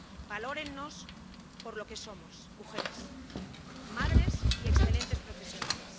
Valórennos por lo que somos, mujeres, madres y excelentes profesionales.